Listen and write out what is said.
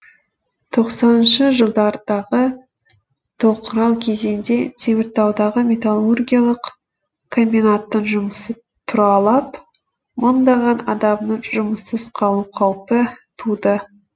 тоқсаныншы жылдардағы тоқырау кезеңде теміртаудағы металлургиялық комбинаттың жұмысы тұралап мыңдаған адамның жұмыссыз қалу қаупі туды